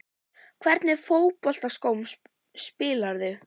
Í hvernig fótboltaskóm spilarðu?